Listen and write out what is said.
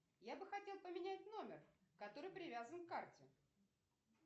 я бы хотел поменять номер который привязан к карте